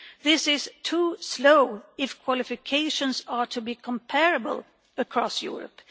This is too slow if qualifications are to be comparable across Europe.